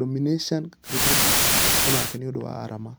dominican republic onake nĩũndũ wa arama .